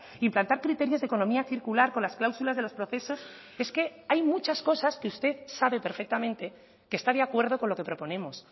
implantar criterios de economía circular con las cláusulas de los procesos es que hay muchas cosas que usted sabe perfectamente que está de acuerdo con lo que proponemos